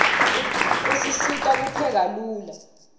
usisita kupheka lula